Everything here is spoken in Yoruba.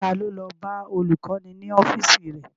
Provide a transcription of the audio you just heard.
Ta ló lọ bá olùkọ́ni ní ọ́fíìsì rẹ̀?